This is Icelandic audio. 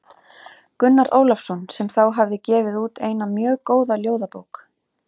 Gunnar Ólafsson sem þá hafði gefið út eina mjög góða ljóðabók.